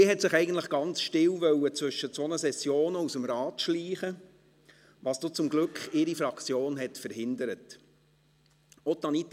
Sie wollte sich eigentlich ganz still zwischen zwei Sessionen aus dem Rat schleichen, was ihre Fraktion dann zum Glück verhindert hat.